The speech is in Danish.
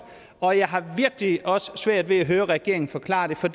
og jeg har virkelig også svært ved at høre regeringen forklare det for